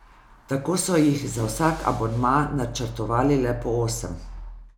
Tako so jih za vsak abonma načrtovali le po osem.